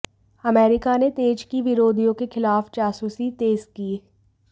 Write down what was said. America ने तेज की विरोधियों के खिलाफ जासूसी तेज की